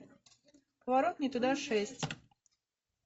поворот не туда шесть